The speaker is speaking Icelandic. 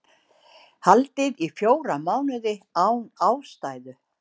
Haldið í fjóra mánuði án ástæðu